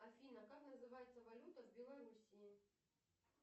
афина как называется валюта в белоруссии